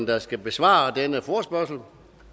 der skal besvare denne forespørgsel